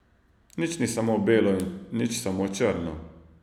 Nič ni samo belo in nič samo črno.